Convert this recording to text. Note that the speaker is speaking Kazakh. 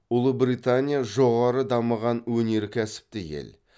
ұлыбритания жоғары дамыған өнеркәсіпті ел